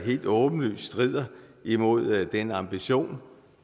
helt åbenlyst strider imod den ambition